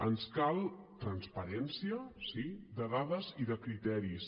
ens cal transparència sí de dades i de criteris